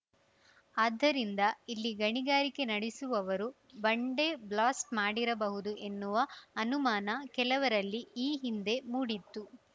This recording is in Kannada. ಆದ್ದರಿಂದ ಇಲ್ಲಿ ಗಣಿಗಾರಿಕೆ ನಡೆಸುವವರು ಬಂಡೆ ಬ್ಲಾಸ್ಟ್ ಮಾಡಿರಬಹುದು ಎನ್ನುವ ಅನುಮಾನ ಕೆಲವರಲ್ಲಿ ಈ ಹಿಂದೆ ಮೂಡಿತ್ತು